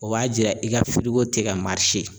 O b'a jɛya i ka tɛ ka